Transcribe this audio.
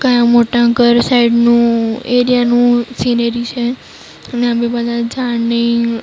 કયા મોટા ઘર સાઈડનું એરિયા નું સિનેરી છે. અને આ બધા ઝાડ ને--